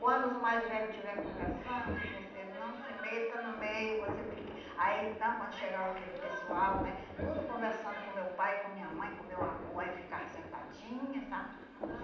Quando os mais velhos estiver conversando, você não se meta no meio, você fique... Aí então, quando chegava aquele pessoal, né, tudo conversando com meu pai, com minha mãe, com meu avô, aí eu ficava sentadinha, sabe?